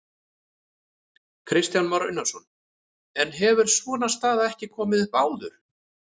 Kristján Már Unnarsson: En hefur svona staða ekki komið upp áður?